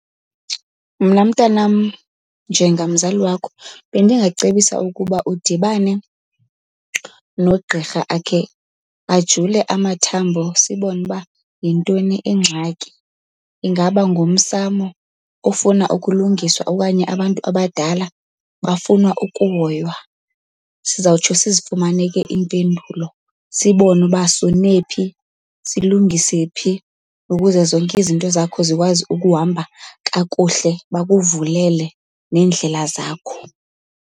Mna mntanam njengamzali wakho bendingacebisa ukuba udibane nogqirha akhe ajule amathambo sibone uba yintoni ingxaki. Ingaba ngumsamo ofuna ukulungiswa okanye abantu abadala bafuna ukuhoywa? Sizawutsho sizifumane ke impendulo sibone uba sone phi, silungise phi ukuze zonke izinto zakho zikwazi ukuhamba kakuhle bakuvulele neendlela zakho.